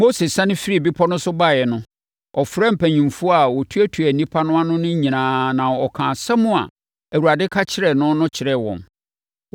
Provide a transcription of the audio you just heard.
Mose siane firii bepɔ no so baeɛ no, ɔfrɛɛ mpanimfoɔ a wɔtuatua nnipa no ano nyinaa na ɔkaa asɛm a Awurade ka kyerɛɛ no no kyerɛɛ wɔn.